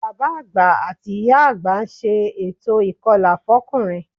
Bàbá àgbà àti ìyá àgbà ń ṣe ètò ìkọlà fọ́kùnrin